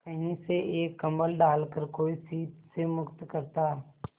कहीं से एक कंबल डालकर कोई शीत से मुक्त करता